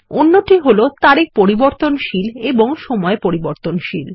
অন্যটি হল তারিখ পরিবর্তনশীল এবং সময় পরিবর্তনশীল